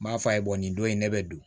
N b'a fɔ a ye nin don ne bɛ don